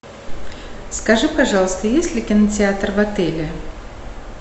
скажи пожалуйста есть ли кинотеатр в отеле